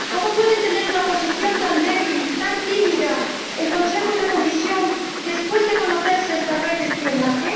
¿Cómo pueden tener una posición tan débil, tan tímida, el Consejo y la Comisión después de conocerse esta red de espionaje?